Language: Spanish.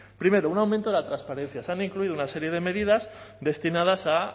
primero un aumento de la transparencia se han incluido una serie de medidas destinadas a